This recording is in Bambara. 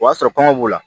O y'a sɔrɔ kɔngɔ b'u la